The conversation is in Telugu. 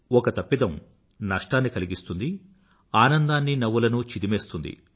ఒక తప్పిదం నష్టాన్ని కలిగిస్తుంది ఆనందాన్ని నవ్వులను చిదిమేస్తుంది